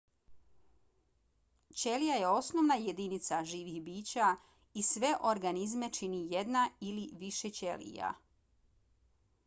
ćelija je osnovna jedinica živih bića i sve organizme čini jedna ili više ćelija